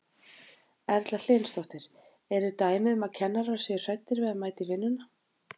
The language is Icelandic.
Erla Hlynsdóttir: Eru dæmi um að kennarar séu hræddir við að mæta í vinnuna?